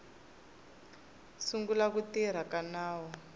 sungula ku tirha ka nawu